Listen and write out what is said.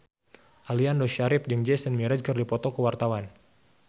Aliando Syarif jeung Jason Mraz keur dipoto ku wartawan